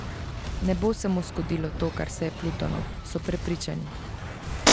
Ne bo se mu zgodilo to, kar se je Plutonu, so prepričani.